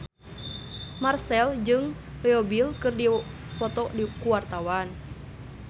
Marchell jeung Leo Bill keur dipoto ku wartawan